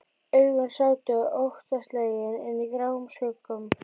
Augun sátu óttaslegin inni í gráum skuggum.